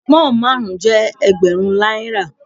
Pón márùn-ún jẹ́ Ẹgbẹ̀rún náírà.